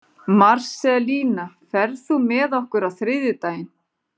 Marselína, ferð þú með okkur á þriðjudaginn?